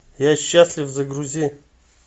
я счастлив загрузи